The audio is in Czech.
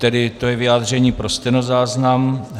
Tedy to je vyjádření pro stenozáznam.